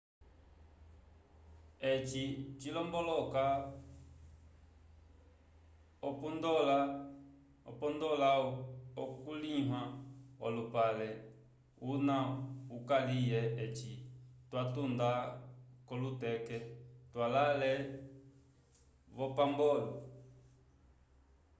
eci cilomboloka upondola oku linyula olupale una ukuliwa eci twatunda ko luteke twalale vombapolo